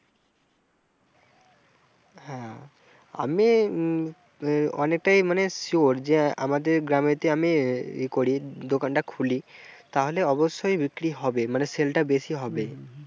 হ্যাঁ আমি অনেকটাই মানে sure যে আমাদের গ্রামেতে আমি ই করি দোকানটা খুলি তাহলে অবশ্যই বিক্রি হবে, মানে sell টা বেশি হবে।